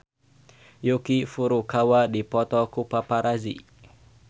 Yuki Furukawa dipoto ku paparazi